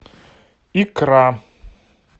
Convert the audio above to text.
икра